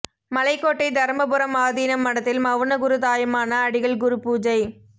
மலைக்கோட்டை தருமபுரம் ஆதீனம் மடத்தில் மவுன குரு தாயுமான அடிகள் குரு பூஜை